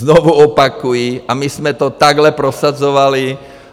Znovu opakuji - a my jsme to takhle prosazovali.